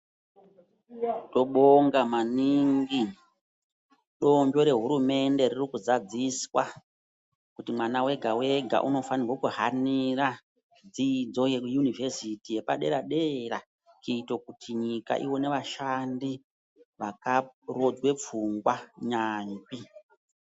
Tobonga maningi donzvo rehurumende riri kuzadziswa, kuti mwana wega wega unofanirwo kuhanira dzidzo yeyunivesiti yepadera dera, kuito kuti nyika ione vashandi vakarodzwe pfungwa.